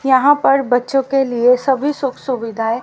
यहां पर बच्चों के लिए सभी सुख सुविधाएं--